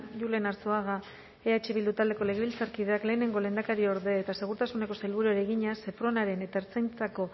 julen arzuaga eh bildu taldeko legebiltzarkideak lehenengo lehendakariorde eta segurtasuneko sailburuari egina sepronaren eta ertzaintzako